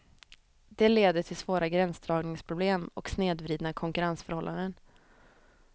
Det leder till svåra gränsdragningsproblem och snedvridna konkurrensförhållanden.